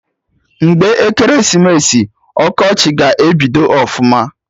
Mgbe ekeresimesi, ọkọchị ga-ebidogo ọfụma